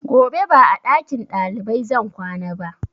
Gobe ba a ɗakin ɗalibai zan kwana ba